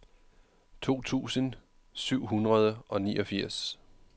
to tusind syv hundrede og niogfirs